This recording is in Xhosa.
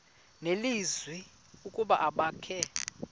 nelizwi ukuba abakhe